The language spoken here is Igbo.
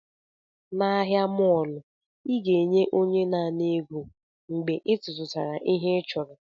N'ahịa mọọlụ, ị ga-enye onye na-ana ego mgbe ị tụtụchara ihe ị chọrọ